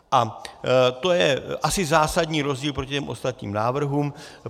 A to je asi zásadní rozdíl proti těm ostatním návrhům.